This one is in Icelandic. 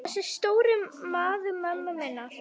Þessi stóri maður mömmu minnar.